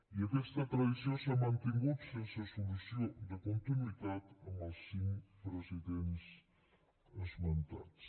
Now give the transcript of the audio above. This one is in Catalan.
i aquesta tradició s’ha mantingut sense solució de continuïtat amb els cinc presidents esmentats